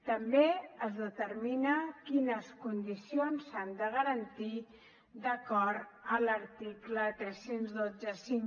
també es determina quines condicions s’han de garantir d’acord amb l’article tres mil cent i vint cinc